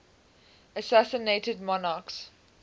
assassinated monarchs